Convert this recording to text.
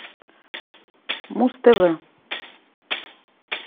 муз тв